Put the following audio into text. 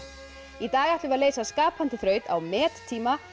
í dag ætlum við að leysa skapandi þraut á met tíma